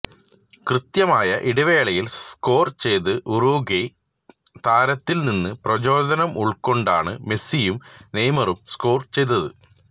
കൃത്യമായ ഇടവേളയില് സ്കോര് ചെയ്ത ഉറുഗ്വായ് താരത്തില്നിന്ന് പ്രചോദനമുള്ക്കൊണ്ടാണ് മെസ്സിയും നെയ്മറും സ്കോര് ചെയ്തത്